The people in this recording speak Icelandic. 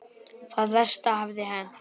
Það versta hafði hent.